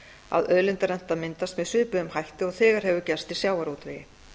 að auðlindarenta myndast með svipuðum hætti og þegar hefur gerst í sjávarútvegi